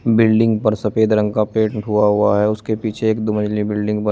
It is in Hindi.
बिल्डिंग पर सफेद रंग का पेंट हुआ हुआ है उसके पीछे एक दो मझली बिल्डिंग बनी--